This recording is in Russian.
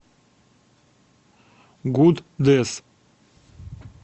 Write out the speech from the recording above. гуддесс